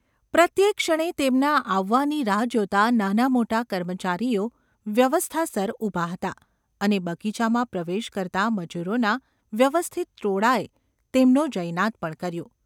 પ્રત્યેક ક્ષણે તેમના આવવાની રાહ જોતા નાનામોટા કર્મચારીઓ વ્યવસ્થાસર ઊભા હતા અને બગીચામાં પ્રવેશ કરતાં મજૂરોના વ્યવસ્થિત ટોળાંએ તેમનો જયનાદ પણ કર્યો.